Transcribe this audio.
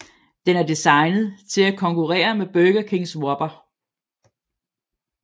Den er designet til at konkurrere med Burger Kings Whopper